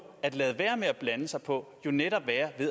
at lade være med at blande sig på jo netop være